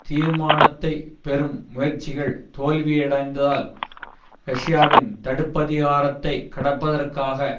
தீர்மானத்தை பெறும் முயற்சிகள் தோல்வியடைந்தால் ரஷ்யாவின் தடுப்பதிகாரத்தை கடப்பதற்காக